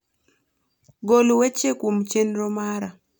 gol weche kuom chenro mara